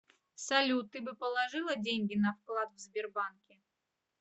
салют ты бы положила деньги на вклад в сбербанке